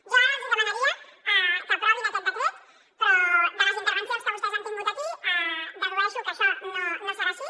jo ara els demanaria que aprovin aquest decret però de les intervencions que vostès han tingut aquí dedueixo que això no serà així